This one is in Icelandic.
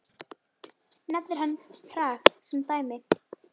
Nefnir hann Prag sem dæmi.